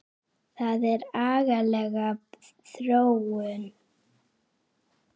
Það er agaleg þróun.